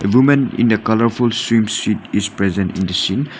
women in the colourful swim suit is present in the swim.